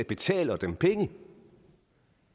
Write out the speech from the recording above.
betaler dem penge